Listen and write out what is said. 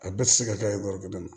A bɛɛ tɛ se ka kɛ garibu dɔ ye